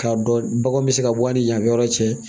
K'a dɔn baganw bɛ se ka bɔ a ni yanfɛ yɔrɔ cɛ